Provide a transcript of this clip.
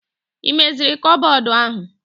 Ị meziri kụpbọdụ ahụ!